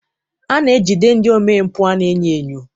A na-ejide ndị omempụ a na-enyo enyo.